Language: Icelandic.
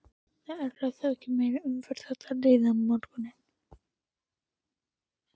Það örlar ekki á meiri umferð þótt líði á morguninn.